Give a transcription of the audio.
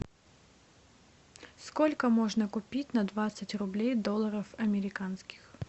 сколько можно купить на двадцать рублей долларов американских